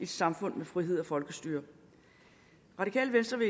samfund med frihed og folkestyre radikale venstre